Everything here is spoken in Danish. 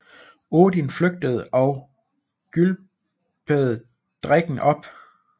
Odin flygtede og gylpede drikken op